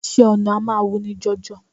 Iṣẹ́ ọnà a máa wuni jọjọ